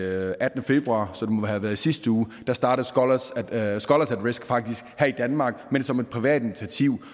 attende februar så det må have været i sidste uge startede scholars at risk faktisk her i danmark men som et privat initiativ